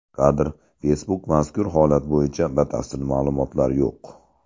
Kadr: Facebook Mazkur holat bo‘yicha batafsil ma’lumotlar yo‘q.